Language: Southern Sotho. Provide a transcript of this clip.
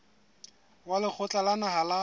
wa lekgotla la naha la